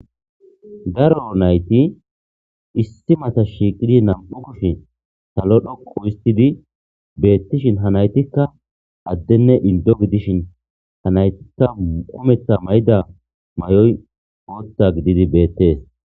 Daro nayti issi bola shiqidi nam'u kushe salo dhoqu histhidi betishin ha naytika adene Indo gidishin ha naytika kumeta mayda mayo bota gididi betes.